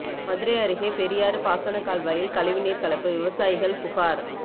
மதுரை அருகே பெரியாறு பாசனக் கால்வாயில் கழிவுநீா் கலப்பு விவசாயிகள் புகாா்